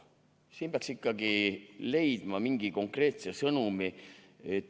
Siin peaks ikkagi leidma mingi konkreetse sõnumi.